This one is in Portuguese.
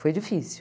Foi difícil.